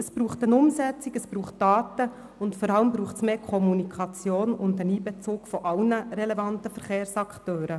Es braucht eine Umsetzung, Daten und vor allem mehr Kommunikation sowie den Einbezug aller relevanten Verkehrsakteure.